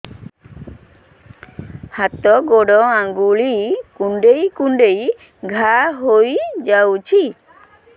ହାତ ଗୋଡ଼ ଆଂଗୁଳି କୁଂଡେଇ କୁଂଡେଇ ଘାଆ ହୋଇଯାଉଛି